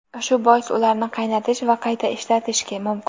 Shu bois ularni qaynatish va qayta ishlatish mumkin.